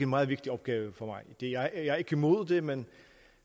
meget vigtig opgave for mig jeg er ikke imod det men